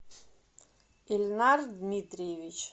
ильнар дмитриевич